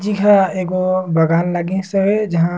जिहा एगो बागान लगिसे हवय जहां--